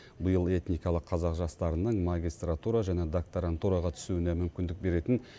биыл этникалық қазақ жастарының магистратура және докторантураға түсуіне мүмкіндік беретін